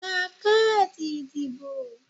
Gba káàdì ìdìbò